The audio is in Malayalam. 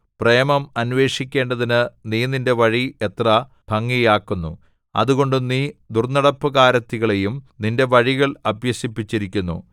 പ്രേമം അന്വേഷിക്കേണ്ടതിന് നീ നിന്റെ വഴി എത്ര ഭംഗിയാക്കുന്നു അതുകൊണ്ട് നീ ദുർന്നടപ്പുകാരത്തികളെയും നിന്റെ വഴികൾ അഭ്യസിപ്പിച്ചിരിക്കുന്നു